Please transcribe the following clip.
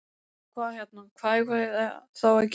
Hvað hérna. hvað eigum við þá að gera?